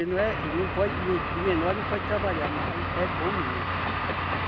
Ele não é, ele não pode, de menor não pode trabalhar, mas é bom menino trabalhar.